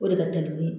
O de ka teli